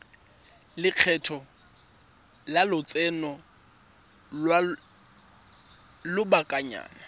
lekgetho la lotseno lwa lobakanyana